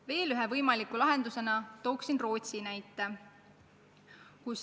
Veel ühe võimaliku lahendusena tooksin Rootsi näite.